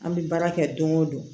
An bɛ baara kɛ don o don